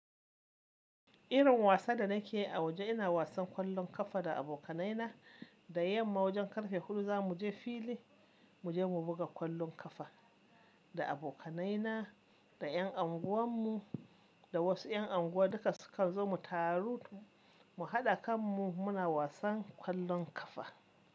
Irin wasa da nake a waje ina wasan kwallon kafa da abokanaina. Da yamma wajen karfe huɗu za muje fili muje mu buga kwallon kafa. Da abokanaina, da ƴan anguwan mu, da wasu ƴan anguwa duka sukan zo mu taru mu haɗa kan mu muna wasan kwallon kafa.